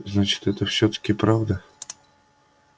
значит это всё-таки правда